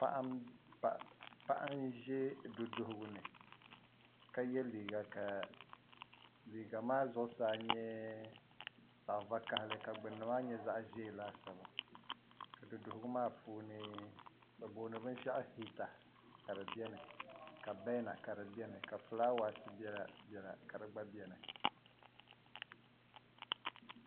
Paɣa n-ʒe duduhugu ni ka ye liiga ka liiga maa zuɣusaa nyɛ zaɣ' vakahili ka gbunni maa nyɛ zaɣ' ʒee laasabu ka duduhugu maa puuni bɛ booni binshɛɣu hiita ka di beni ka bɛɛna ka di beni ka fulaawaasi gba belabela ka di gba beni